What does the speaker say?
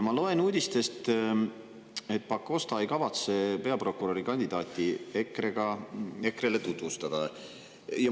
Ma loen uudistest, et Pakosta ei kavatse peaprokurörikandidaati EKRE-le tutvustada.